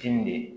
K'i ne